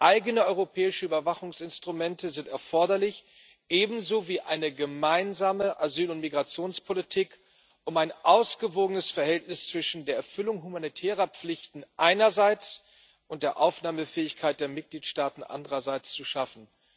Eigene europäische Überwachungsinstrumente sind ebenso erforderlich wie eine gemeinsame Asyl und Migrationspolitik, um ein ausgewogenes Verhältnis zwischen der Erfüllung humanitärer Pflichten einerseits und der Aufnahmefähigkeit der Mitgliedstaaten andererseits zu schaffen.